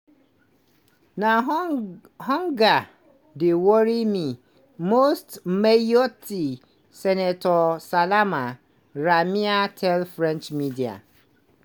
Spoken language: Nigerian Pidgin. "na di hunger dey worry me most" mayotte senator salama ramia tell french media.